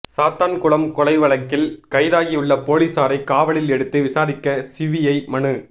சாத்தான்குளம் கொலை வழக்கில் கைதாகியுள்ள போலீஸாரை காவலில் எடுத்து விசாரிக்க சிபிஐ மனு